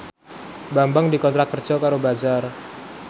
Bambang dikontrak kerja karo Bazaar